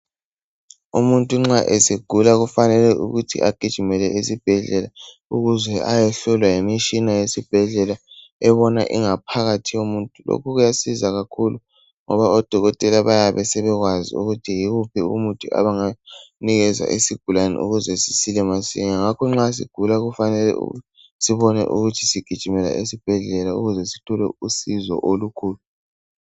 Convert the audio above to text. Umuntu nxa segula kufanele ukuthi agijimele esibhedlela ukuze ayohlolwa yimitshina yesibhedlela ebona ingaphakathi yomuntu. Lokhu kuyasiza kakhulu ngoba odokotela bayabe sebekwazi ukuthi yiwuphi umuthi abangawunikeza isigulani ukuze sisile masinyane. Ngakho nxa sigula kufanele sibone ukuthi sigijimela esibhedlela ukuze sithole usizo olukhulu.